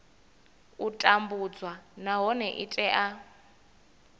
u tambudzwa nahone i tea